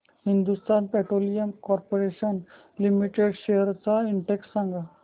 Hindustan Petroleum Corporation Limited shares चा index सांगा